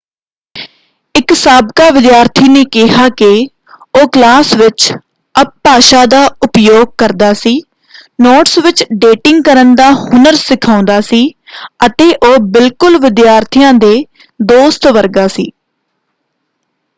ਇੱਕ ਸਾਬਕਾ ਵਿਦਿਆਰਥੀ ਨੇ ਕਿਹਾ ਕਿ ਉਹ ' ਕਲਾਸ ਵਿੱਚ ਅਪਭਾਸ਼ਾ ਦਾ ਉਪਯੋਗ ਕਰਦਾ ਸੀ ਨੋਟਸ ਵਿੱਚ ਡੇਟਿੰਗ ਕਰਨ ਦਾ ਹੁਨਰ ਸਿਖਾਉਂਦਾ ਸੀ ਅਤੇ ਉਹ ਬਿਲਕੁਲ ਵਿਦਿਆਰਥੀਆਂ ਦੇ ਦੋਸਤ ਵਰਗਾ ਸੀ।